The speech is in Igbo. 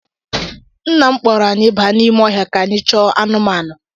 Nna m kpọrọ anyị baa n’ime ọhịa ka anyị chọọ anụmanụ.